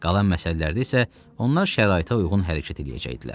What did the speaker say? Qalan məsələlərdə isə onlar şəraitə uyğun hərəkət eləyəcəkdilər.